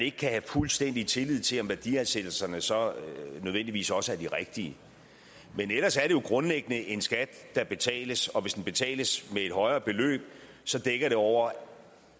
ikke kan have fuldstændig tillid til om værdiansættelserne så nødvendigvis også er de rigtige men ellers er det jo grundlæggende en skat der betales og hvis den betales med et højere beløb så dækker det over